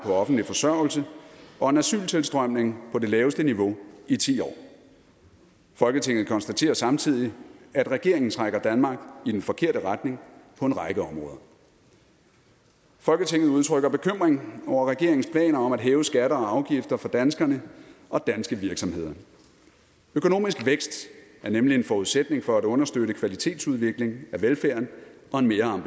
offentlig forsørgelse og en asyltilstrømning på det laveste niveau i ti år folketinget konstaterer samtidig at regeringen trækker danmark i den forkerte retning på en række områder folketinget udtrykker bekymring over regeringens planer om at hæve skatter og afgifter for danskerne og danske virksomheder økonomisk vækst er nemlig en forudsætning for at understøtte kvalitetsudvikling af velfærden og en mere